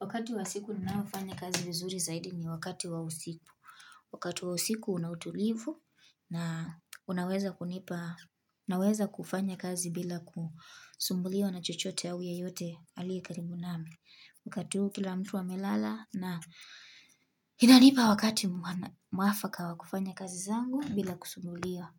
Wakati wa siku ninaofanya kazi vizuri zaidi ni wakati wa usiku. Wakati wa usiku unautulivu na unaweza kunipa, naweza kufanya kazi bila kusumbuliwa na chochote au yeyote aliye karibu nami. Wakati huu kila mtu amelala na inanipa wakati mwafaka wa kufanya kazi zangu bila kusumbuliwa.